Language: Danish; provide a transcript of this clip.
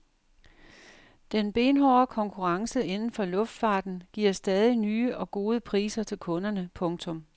Den benhårde konkurrence inden for luftfarten giver stadig nye og gode priser til kunderne. punktum